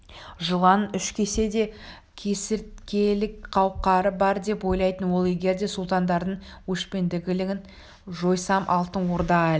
жыланның үш кессе де кесірткелік қауқары бар деп ойлайтын ол егер де сұлтандардың өшпенділігін жойсам алтын орда әлі